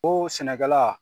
Oo sɛnɛkɛla